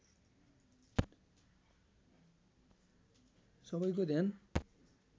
सबैको ध्यान